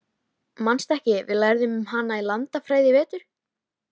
Manstu ekki, við lærðum um hana í landafræðinni í vetur?